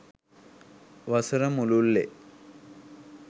වසර මුළුල්‍ලේ